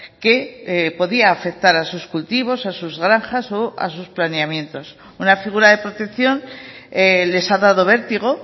que podía afectar a sus cultivos a sus granjas o a sus planeamientos una figura de protección les ha dado vértigo